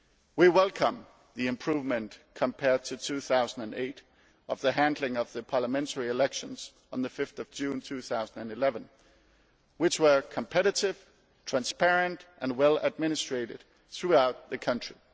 We welcome the improvement, compared to 2008, of the handling of the parliamentary elections on 5 June 2011, which were competitive, transparent and well administrated throughout the country.